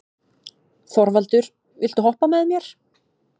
Þorvaldur, viltu hoppa með mér?